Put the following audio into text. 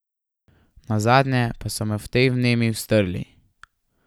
Nazadnje pa so me v tej vnemi strli.